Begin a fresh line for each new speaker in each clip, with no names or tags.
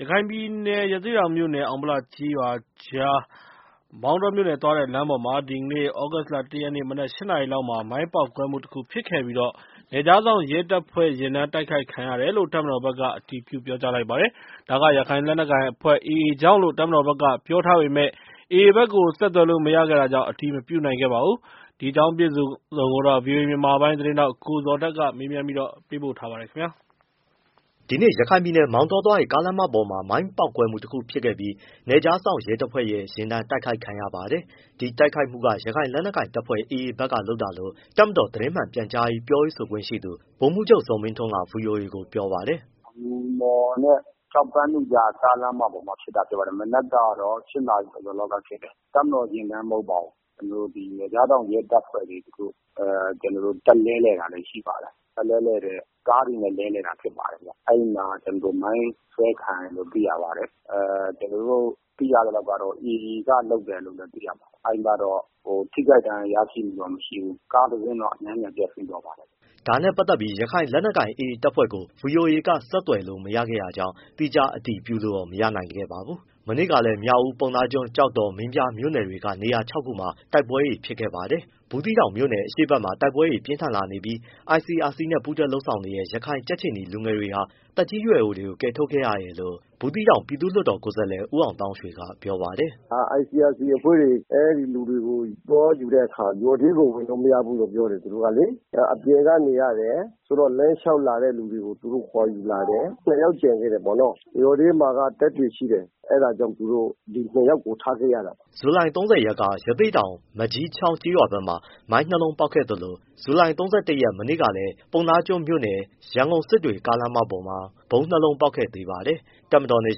ရခိုင်ပြည်နယ် ၊ ရသေ့တောင်မြို့နယ်နဲ့ အောင်ဗလကျေးရွာကြား မောင်တောမြို့နယ်သွားတဲ့လမ်းပေါ်မှာ ဒီနေ့ သြဂုတ် ၁ရက် မနက် ၈နာရီလောက်မှာ မိုင်းပေါက်ကွဲမှုတခုဖြစ်ခဲ့ပြီး နယ်ခြားစောင့်ရဲတပ်ဖွဲ့ ယာဉ်တန်းကို တိုက်ခိုက်ခံရတယ်လို့ တပ်မတော်ဘက်က အတည်ပြုပါတယ်။ ဒါက ရခိုင်လက်နက်ကိုင်အဖွဲ့ AA ကြောင့်လို့ တပ်မတော်ဘက်က ပြောထားပေမဲ့ AA ဘက်ကို ဆက်သွယ်လို့မရခဲ့တာကြောင့် အတည်မပြုနိုင်ခဲ့ပါဘူး။ ဗွီအိုအေမြန်မာပိုင်းသတင်းထောက် ကိုဇော်ထက် မေးမြန်းပေးပို့ထားပါတယ်။
ဒီနေ့မနက် ရခိုင်ပြည်နယ် မောင်တောသွားတဲ့ ကားလမ်းပေါ်မှာ မိုင်းပေါက်ကွဲမှုတခုဖြစ်ခဲ့ပြီး နယ်ခြားစောင့် ရဲတပ်ဖွဲ့ရဲ့ ယာဉ်တန်းတိုက်ခိုက်ခံရပါတယ်။ ဒီတိုက်ခိုက်မှုက ရခိုင်လက်နက်ကိုင်တပ်ဖွဲ့ AA ဘက်ကလုပ်တာလို့ တပ်မတော် သတင်းမှန်ပြန်ကြားရေး ပြောရေးဆိုခွင့်ရှိသူ ဗိုလ်မှုးချုပ်ဇော်မင်းထွန်းက ဗွီအိုအေကို ပြောပါတယ်။
“ အငူမော်နဲ့ ကျောက်ပန်းနုကြား ကားလမ်းမပေါ်မှာဖြစ်တာလို့ပြောပါတယ်။ မနက်က ၈နာရီကျော်ကျော်လောက်မှာ ဖြစ်တယ် တပ်မတော်ယာဉ်တန်း မဟုတ်ပါဘူး။ နယ်ကြားစောင့်ရဲတပ်ဖွဲ့လေးတခု တပ်လဲလှယ်တာလေး ရှိပါတယ်။ ကားတွေနဲ့လဲလှယ်တာပါ။ အဲဒီမှာ မိုင်းဆွဲခံရတယ်လို့ သိရပါတယ်။ ကျနော်တို့သိရသလောက်ကတော့ AA ကလုပ်တယ်လို့သိရပါတယ်။ ထိခိုက်ဒဏ်ရာရတာမျိုး မရှိဘူး။ ကားတစီးတော့ အနည်းငယ်ပျက်စီးသွားပါတယ်။
” ဒါနဲပတ်သက်ပြီး ရခိုင်လက်နက်ကိုင် AA တပ်ဖွဲ့ကို ဗွီအိုအေက ဆက်သွယ်လို့မရခဲ့တာကြောင့် သီးခြားအတည်ပြုလို့တော့ မရနိုင်ခဲ့ပါဘူး။ မနေ့ကလည်း မြောက်ဦး၊ ပုဏ္ဏားကျွန်း၊ ကျောက်တော်၊ မင်းပြားမြို့တွေက နေရာ ၆ခုမှာ တိုက်ပွဲတွေဖြစ်ခဲ့ပါတယ်။ ဘူးသီးတောင် အရှေ့ဘက်မှာ တိုက်ပွဲတွေပြင်းထန် လာနေပြီး ICRC နဲ့ ပူးတွဲလုပ်ဆောင်နေတဲ့ ရခိုင်ကြက်ခြေနီလူငယ်တွေဟာ သက်ကြီးရွယ်အိုတွေကို ကယ်ထုတ်ခဲ့ရပါတယ်လို့ ဘူးသီးတောင် ပြည်သူ့ လွှတ်တော်ကိုယ်စားလှယ် ဦးအောင်သောင်းရွှေက ပြောပါတယ်
။ “ ICRC အဖွဲ့တွေ အဲဒီလူတွေကို သွားကယ်တဲ့အခါမှာ ရွာထဲကိုဝင်လို့မရဘူးလို့ပြောတယ် သူတို့ကလေ အပြင်ကနေရတယ်၊ ဆိုတော့ လမ်းလျှောက်လာတဲ့သူတွေကို ခေါ်ယူလာတယ်။ ၂ယောက်ကျန်ခဲ့တယ်ပေါ့နော။ ရွာထဲမှာကတပ်တွေရှိတယ် အဲဒါကြောင့်သူတို့ ဒီနှစ်ယောက်ကို ထားခဲ့ရတာ။
” ဇူလိုင် ၃၀ရက်က ရသေ့တောင် မန်ကျည်းချောင်းကျေးရွာဘက်မှာ မိုင်း ၂လုံးပေါက်ခဲ့သလို ဇူလိုင် ၃၁ရက် မနေ့ကလည်း ပုဏ္ဏားကျွန်းမြို့နယ် ရန်ကုန်-စစ်တွေလမ်းပေါ်မှာ ဗုံးနှစ်လုံးပေါက်ခဲ့ပါသေးတယ်။ တပ်မတော်နဲ့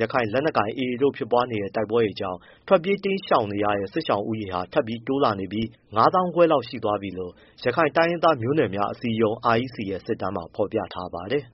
ရခိုင်လက်နက်ကိုင် AA တို့ဖြစ်ပွားခဲ့တဲ့ တိုက်ပွဲတွေကြောင့် ထွက်ပြေးတိမ်းရှောင်နေရတဲ့ စစ်ရှောင်ဦးရေဟာ ထပ်တိုးလာပြီး ၅၅၀၀၀ ကျော်သွားပြီလို့ ရခိုင်တိုင်းရင်းသားမျိုးနွယ်များအစည်းအရုံး REC ရဲ့ စစ်တမ်းမှာ ဖော်ပြထားပါတယ်